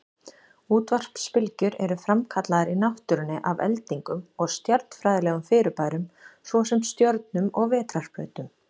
Útvarpsbylgjur eru framkallaðar í náttúrunni af eldingum og stjarnfræðilegum fyrirbærum, svo sem stjörnum og vetrarbrautum.